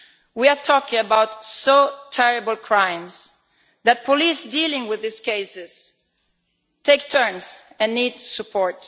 We are talking about such terrible crimes that police dealing with these cases take turns on duty and need support.